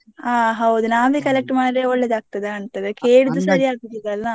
ಹ ಹೌದು ನಾವೇ collect ಮಾಡಿದ್ರೆ ಒಳ್ಳೆದ್ ಆಗ್ತದ ಕಾಂತದೆ ಕೇಳುದು ಸರಿ ಆಗುದಿಲ್ಲ ಅಲ್ಲ.